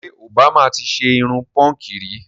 Ṣé òbámà ti ṣe irun púnkì rí?